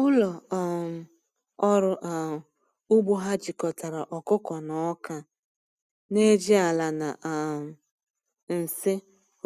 Ụlọ um ọrụ um ugbo ha jikọtara ọkụkọ na ọka, na-eji ala na um nsị